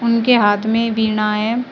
उनके हाथ में बिना है।